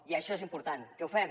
i això és important que ho fem